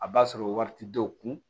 A b'a sɔrɔ wari tɛ dɔw kun